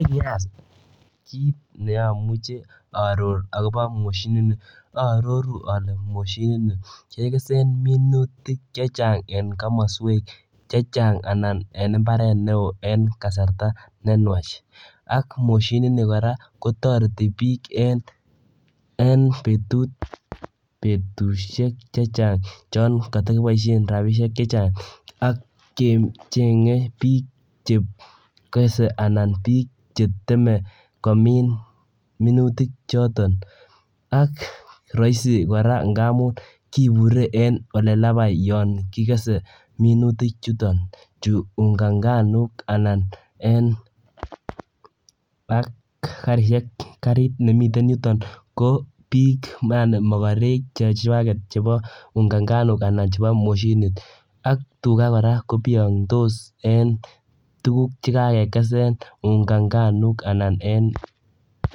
Kiit ne amuchi aaror akobo mashinitni aaroru ale mashinitni kekese minutik chechang eng komaswek chechang anan en imbaret neoo en kasarta nenwach ak mashinit ni kora kotoreti biik en betusiek chechang chon katakiboisie rabisiek chechang akechege biik chekese anan biik cheteme komin minutiok chotok ak raaisi kora ngaamun ibure en olobo yon kikese minutik chuton cheu unga nganuk anan ak karisiek karit nemiten yutok ko biik yaani makarek chechwaket chebo unga nganok anan chebo machinit ak tuga kora kobiyondose eng tuguk chekake kesen unga nganuk.